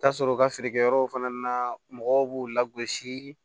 Taa sɔrɔ u ka feerekɛyɔrɔw fana na mɔgɔw b'u la gosi